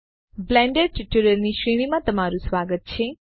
Blender tutorial ની શ્રેણીમાં તમારું સ્વાગત છે